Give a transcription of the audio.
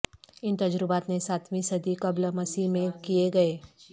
ان تجربات نے ساتویں صدی قبل مسیح میں کئے گئے